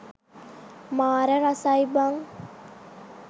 මාර රසයි බං